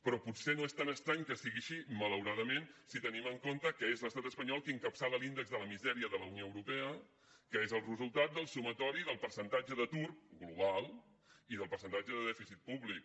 però potser no és tan estrany que sigui així malauradament si tenim en compte que és l’estat espanyol qui encapçala l’índex de la misèria de la unió europea que és el resultat del sumatori del percentatge d’atur global i del percentatge de dèficit públic